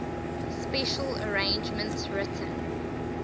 special arrangements written